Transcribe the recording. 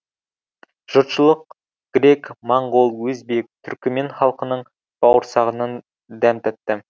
жұртшылық грек моңғол өзбек түркімен халқының бауырсағынан дәм татты